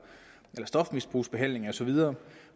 i stofmisbrugsbehandling og så videre